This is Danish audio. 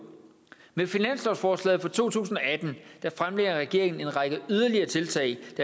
med finanslovsforslaget for to tusind og atten fremlægger regeringen en række yderligere tiltag